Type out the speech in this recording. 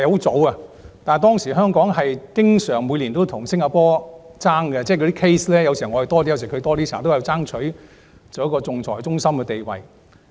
早期，香港與新加坡每年經常爭辦案件，但互有多寡，我們都爭取仲裁中心的地位。